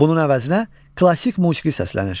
Bunun əvəzinə klassik musiqi səslənir.